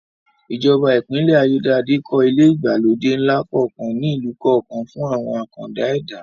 Ìjọba Ìpínlẹ̀ Ayédáadé kọ́ ilé ìgbàlódé ńlá kọ̀ọ̀kan ní ìlú kọ̀ọ̀kan fún àwọn àkàndá ẹ̀dá